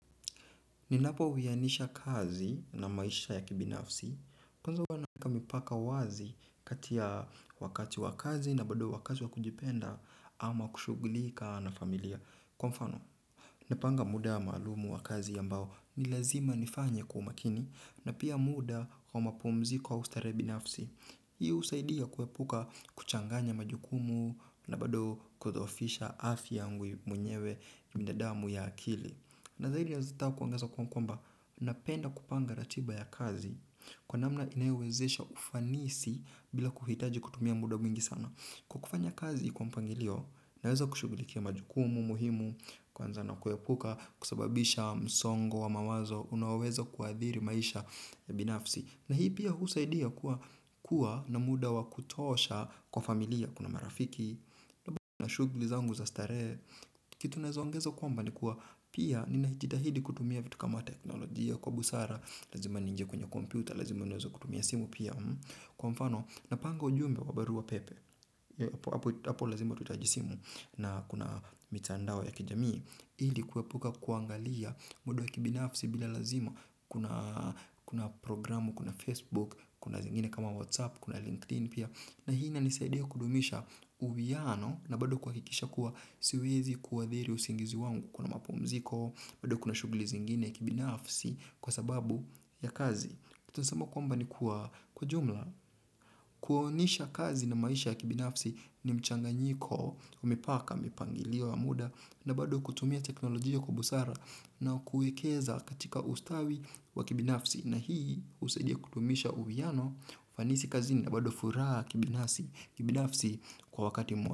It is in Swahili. Ninapowianisha kazi na maisha ya kibinafsi, kwanza huwa naweka mipaka wazi kati ya wakati wa kazi na bado wa kazi wa kujipenda ama kushughulika na familia. Kwa mfano, napanga muda maalumu wa kazi ambao ni lazima nifanye kwa umakini na pia muda wa mapumziko au starehe binafsi. Hii husaidia kuepuka kuchanganya majukumu na bado kudhoofisha afya yangu mwenyewe na damu ya akili. Na zaidi nataka kuongeza kwamba napenda kupanga ratiba ya kazi kwa namna inayowezesha ufanisi bila kuhitaji kutumia muda mwingi sana. Kwa kufanya kazi kwa mpangilio, naweza kushughulikia majukumu muhimu, kuanza na kuepuka kusababisha msongo wa mawazo unaoweza kuathiri maisha ya binafsi. Na hii pia husaidia kuwa na muda wa kutosha kwa familia, kuna marafiki, na shughuli zangu za starehe, kitu naweza ongeza kwamba ni kuwa pia ninajitahidi kutumia vitu kama teknolojia kwa busara, lazima niingie kwenye kompyuta, lazima niweze kutumia simu pia. Kwa mfano, napanga ujumbe wa barua pepe hapo lazima utahitaji simu na kuna mitandao ya kijamii ili kuepuka kuangalia muda wa kibinafsi bila lazima. Kuna programu, kuna Facebook, kuna zingine kama WhatsApp, kuna LinkedIn pia na hii inanisaidia kudumisha uwiano na bado kuhakikisha kuwa siwezi kuathiri usingizi wangu kuna mapumziko, bado kuna shughuli zingine kibinafsi kwa sababu ya kazi kitu naweza sema kwamba ni kuwa kwa jumla, kuonisha kazi na maisha ya kibinafsi ni mchanganyiko wa mipaka, mipangilio, wa muda, na bado kutumia teknolojia kwa busara na kuwekeza katika ustawi wa kibinafsi. Na hii husaidia kudumisha uwiano, ufanisi kazini na bado furaha kibinafsi kwa wakati mmoja.